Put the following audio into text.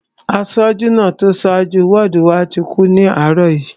Aṣojú náà tó so jú wọ́ọ̀dù wá kú ní àárọ̀ òní